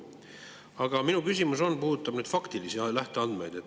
Aga minu küsimus puudutab faktilisi lähteandmeid.